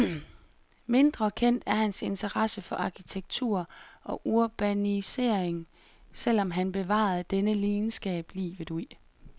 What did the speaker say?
Mindre kendt er hans interesse for arkitektur og urbanisering, selv om han bevarede denne lidenskab livet ud.